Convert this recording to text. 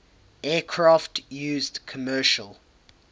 aircraft used commercial